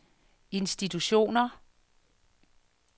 institutioner